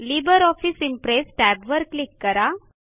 Libre office Impress टॅबवर click करा